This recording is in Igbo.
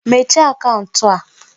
Mechie akaụntụ a!